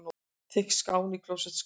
Þykk skán í klósettskálinni.